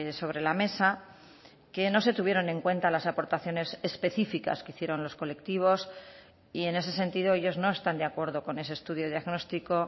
sobre la mesa que no se tuvieron en cuenta las aportaciones específicas que hicieron los colectivos y en ese sentido ellos no están de acuerdo con ese estudio diagnóstico